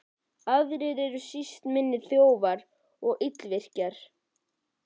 Aðrir eru síst minni þjófar og illvirkjar.